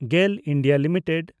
GAIL (India) limited